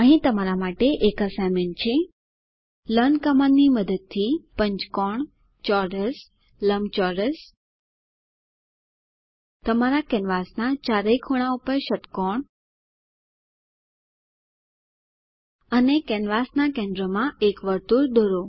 અહીં તમારા માટે એસાઈનમેન્ટ છે લર્ન કમાન્ડની મદદથી પંચકોણ ચોરસ લંબચોરસ તમારા કેનવાસના ચારેય ખૂણા પર ષટ્કોણ અને કેનવાસ ના કેન્દ્ર માં એક વર્તુળ દોરો